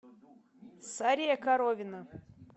сария коровина